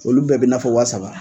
Olu bɛɛ bɛ i na fɔ waa saba.